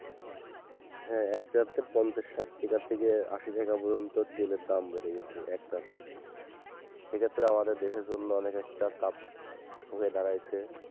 হ্যাঁ এক জারেতে পঞ্চাশ সাট টাকা থেকে আশি টাকা পর্যন্ত তেলের দাম বেড়ে গেছে একসাথে সেক্ষেত্রে আমাদের দেশের জন্য অনেক একটা চাপ হয়ে দাঁড়াইছে।